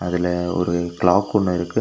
இதுல ஒரு கிளாக் ஒன்னு இருக்கு.